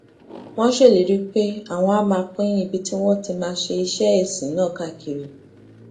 wón ṣèlérí pé àwọn á máa pín ibi tí àwọn ti máa ṣe iṣé ìsìn náà káàkiri